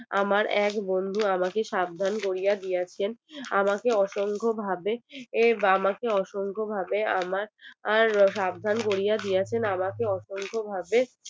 আমার এক বন্ধু আমাকে সাবধান করিয়া দিয়েছেন আমাকে অসংখ্য ভাবে এ আমাকে অসংখ্য ভাবে আমার সাবধান করিয়া দিয়েছে আমাকে অসংখ্য ভাবে